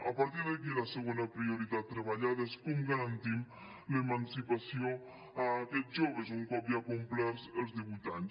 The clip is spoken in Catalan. a partir d’aquí la segona prioritat treballada és com garantim l’emancipació a aquests joves un cop ja complerts els divuit anys